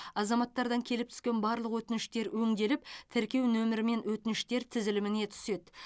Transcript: азаматтардан келіп түскен барлық өтініштер өңделіп тіркеу нөмірімен өтініштер тізіліміне түседі